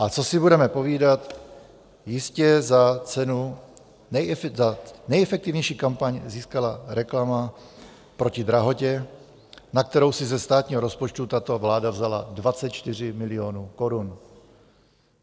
A co si budeme povídat, jistě cenu za nejefektivnější kampaň získala reklama proti drahotě, na kterou si ze státního rozpočtu tato vláda vzala 24 milionů korun.